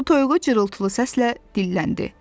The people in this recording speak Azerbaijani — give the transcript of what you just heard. Su toyuğu cırıltılı səslə dilləndi.